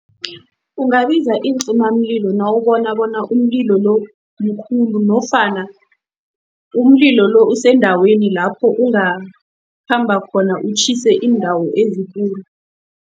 Ungabiza iincimamlilo nawubona bona umlilo lo mkhulu nofana umlilo lo usendaweni lapho ungakhamba khona, utjhise indawo ezikulu.